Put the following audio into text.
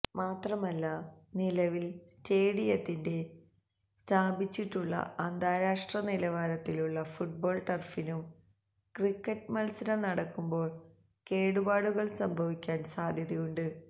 മാത്രമല്ല നിലവിൽ സ്റ്റേഡിയത്തിൽ സ്ഥാപിച്ചിട്ടുള്ള അന്താരാഷ്ട്ര നിലവാരത്തിലുള്ള ഫുട്ബോൾ ടർഫിനും ക്രിക്കറ്റ് മത്സരം നടക്കുമ്പോൾ കേടുപാടുകൾ സംഭവിക്കാൻ സാധ്യതയുണ്ട്